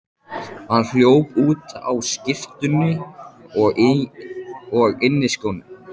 Hann hljóp út á skyrtunni og inniskónum.